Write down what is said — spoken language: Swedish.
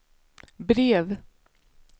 brev